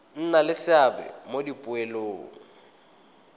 nna le seabe mo dipoelong